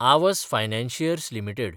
Aavas financiers limited